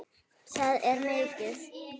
Það er mikið!